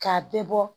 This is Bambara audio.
K'a bɛɛ bɔ